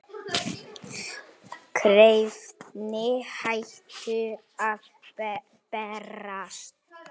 Bréfin hættu að berast.